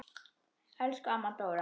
Elsku amma Dóra.